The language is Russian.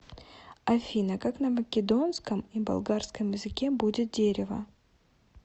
афина как на македонском и болгарском языке будет дерево